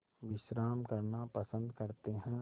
विश्राम करना पसंद करते हैं